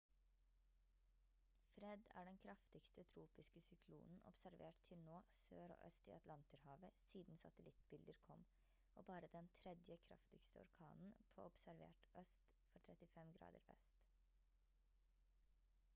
fred er den kraftigste tropiske syklonen observert til nå sør og øst i atlanterhavet siden satellittbilder kom og bare den 3. kraftigste orkanen på observert øst for 35 grader vest